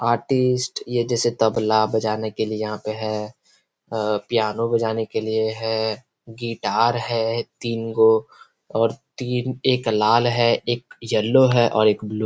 artist ये जैसे तबला बजाने के लिए यहाँ पे है अ पियानो बजाने के लिए है गिटार है तीन गो और तीन एक लाल है एक येलो है और एक ब्लू --